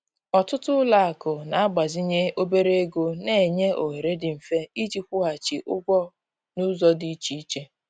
Ọtụtụ ụlọakụ na-agbazinye obere ego na-enye ohere dị mfe iji kwụghachi ụgwọ n'ụzọ dị iche iche